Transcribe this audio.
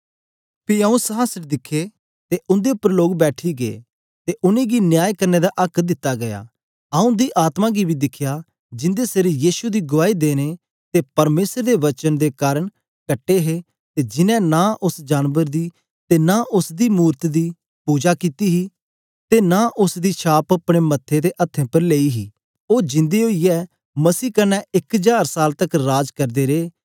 पी आऊँ संहासन दिखे ते उंदे उपर लोग बैठी गै ते उनेंगी न्याय करने दा आक्क दित्ता गीया आऊँ उंदी आत्मा गी बी दिखया जिंदे सिर यीशु दी गुआई देने ते परमेसर दे वचन दे कारन कटे हे ते जिन्हैं नां उस्स जानबर दी ते नां उस्स दी मूरत दी पुजा कित्ती हे ते नां उस्स दी छाप अपने मथे ते हत्थें उपर लेई हे ओ जिंदे ओईयै मसीह कन्ने इक जार साल तकर राज करदे रे